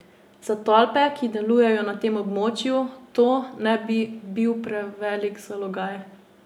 Za tolpe, ki delujejo na tem območju, to ne bi bil prevelik zalogaj.